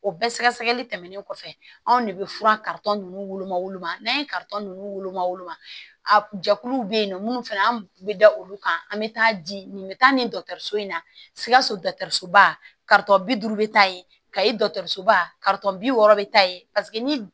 O bɛɛ sɛgɛsɛgɛli tɛmɛnen kɔfɛ anw de bɛ fura ninnu woloma woloma n'an ye ninnu woloma woloma jɛkuluw bɛ yen nɔ minnu fana an bɛ da olu kan an bɛ taa di nin bɛ taa nin in na sikaso ba bi duuru bɛ taa ye kayi dɔgɔtɔrɔso ba bi wɔɔrɔ bɛ taa ye paseke ni